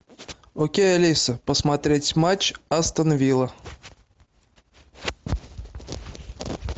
окей алиса посмотреть матч астон вилла